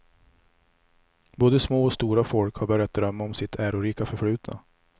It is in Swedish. Både små och stora folk har börjat drömma om sitt ärorika förflutna.